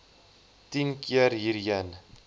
tien keer hierheen